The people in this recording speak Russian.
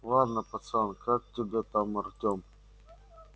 ладно пацан как тебя там артем